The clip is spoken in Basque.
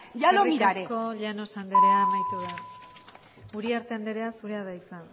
ya lo miraré eskerrik asko llanos andrea amaitu da uriarte andrea zurea da hitza